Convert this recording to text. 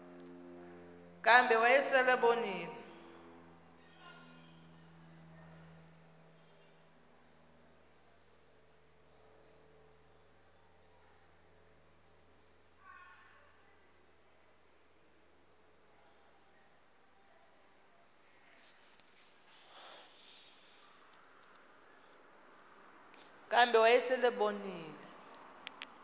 kambe wayesel ebonile